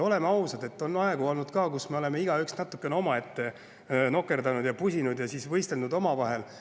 Oleme ausad, on olnud ka aegu, kui me oleme igaüks natukene omaette nokerdanud, pusinud ja siis võistelnud omavahel.